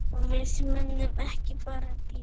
Við munum ekki bara bíða.